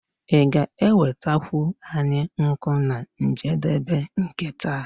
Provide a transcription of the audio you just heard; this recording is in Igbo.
Ị ga-enwetakwu anyị nkụ na njedebe nke taa?